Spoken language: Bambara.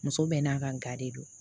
Muso bɛɛ n'a ka ga de don